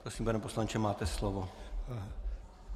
Prosím, pane poslanče, máte slovo.